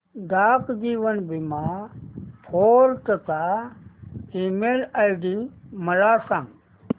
डाक जीवन बीमा फोर्ट चा ईमेल आयडी मला सांग